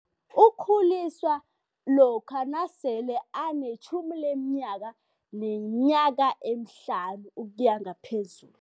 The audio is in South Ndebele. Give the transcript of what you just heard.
Ukhuliswa lokha nasele anetjhumi leminyaka neminyaka emihlanu ukuya ngaphezulu.